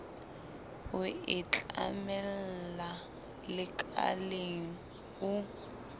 o e tlamella lekaleng o